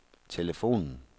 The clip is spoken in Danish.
telefonen